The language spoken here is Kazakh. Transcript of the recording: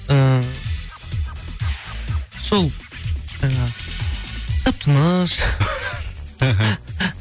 ііі сол жаңағы тып тыныш іхі